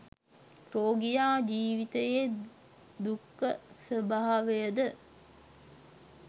රෝගියා ජීවිතයේ දුක්ඛ ස්වභාවයද